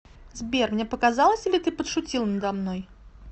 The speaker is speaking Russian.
сбер мне показалось или ты подшутил надо мной